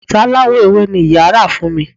Bàtà aláwọ̀ ewé ni ìyá rà fún mi